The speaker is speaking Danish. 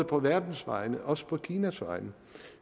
på verdens vegne og også på kinas vegne